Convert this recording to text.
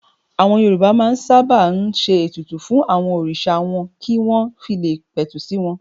Àwọn Yorùbá sábà máa ń ṣe ètùtù fún àwọn òrìṣà wọn kí wọ́n fi le pẹ̀tù sí wọn.